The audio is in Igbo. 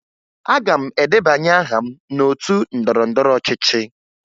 Aga m edebanye aha m n'otu ndọrọndọrọ ọchịchị